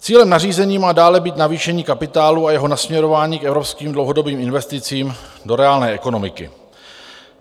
Cílem nařízení má dále být navýšení kapitálu a jeho nasměrování k evropským dlouhodobým investicím do reálné ekonomiky.